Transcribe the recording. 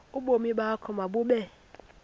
ubomi bakho mabube